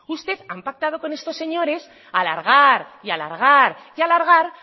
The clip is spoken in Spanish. usted ha pactado con estos señores alargar y alargar